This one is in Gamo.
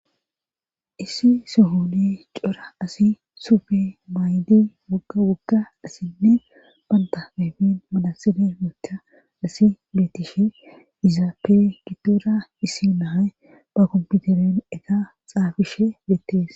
issi sohoni cora asi sufe maaydi wogawogga asinne banta ayifen manatsire woththa asi beetishe izaappe giddora isinahay ba komputeren ega xaafishe beettees